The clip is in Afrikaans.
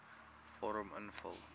vorm invul